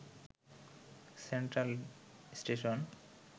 central station